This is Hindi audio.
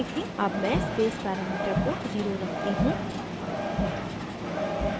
अब मैं space parameter को 0 रखती हूँ